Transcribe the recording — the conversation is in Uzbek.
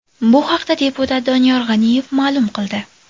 Bu haqda deputat Doniyor G‘aniyev ma’lum qildi .